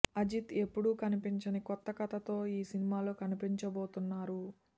అజిత్ ఎప్పుడూ కనిపించని కొత్త కథ తో ఈ సినిమా లో కనిపించబోతున్నారు